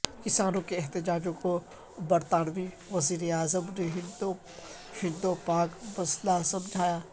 کسانوں کے احتجاج کو برطانوی وزیراعظم نے ہندپاک مسئلہ سمجھا